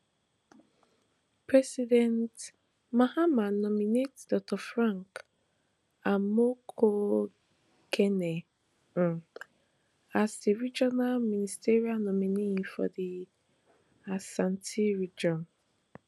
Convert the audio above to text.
president mahama nominate dr frank amoakohene um as di regional ministerial nominee for di ashanti region